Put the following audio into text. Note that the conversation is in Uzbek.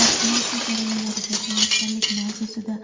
vaksinatsiya jarayonlariga tayyorgarlik mavzusida